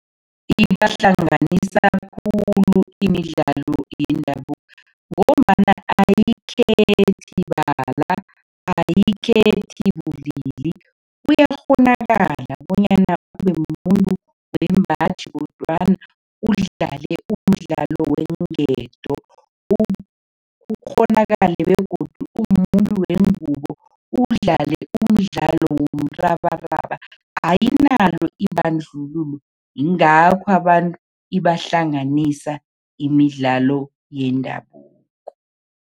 Ibahlanganisa khulu imidlalo yendabuko ngombana ayikhethi bala, ayikhethi bulili, kuyakghonakala bonyana ube mumuntu wembaji kodwana udlale umdlalo weenketo. Kukghonakale begodu umuntu wengubo udlale umdlalo womrabaraba, ayinalo ibandlululo. Yingakho abantu ibahlanganisa imidlalo yendabuko.